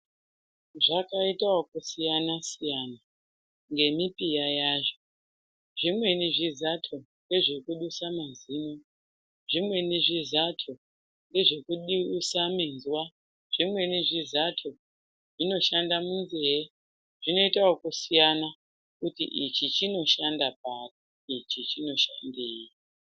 Zvakaita okusiyana siyana ngemipiya yazvo zvimweni zvizato ngezvekudusa mazino , zvimweni zvizato ngezvekudusa minzwa , zvimweni zvizato zvinoshanda munzee zvinoita okusiyana kuti ichi chinoshanda pari , ichi chinoshandei.